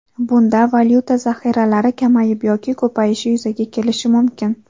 Bunda valyuta zaxiralari kamayib yoki ko‘payishi yuzaga kelishi mumkin.